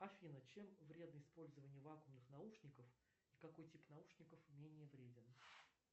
афина чем вредно использование вакуумных наушников и какой тип наушников менее вреден